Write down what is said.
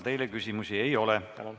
Teile küsimusi ei ole.